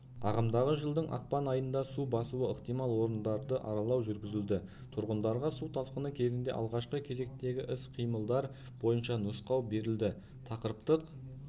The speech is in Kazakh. ағымдағы жылдың ақпан айында су басуы ықтимал орындарды аралау жүргізілді тұрғындарға су тасқыны кезінде алғашқы кезектегі іс-қимылдар бойынша нұсқау берілді тақырыптық